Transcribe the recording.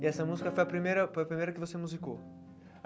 E essa música foi a primeira foi a primeira que você musicou?